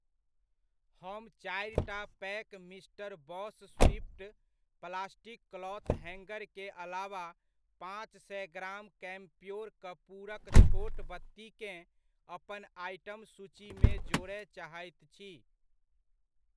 हम चारिटा pack mister boss swift plastic cloth हैङ्गरके अलावा पाँच सए ग्राम कैम्प्योर कपूरक छोट बत्तीकेँ अपन आइटम सूचीमे जोड़य चाहैत छी।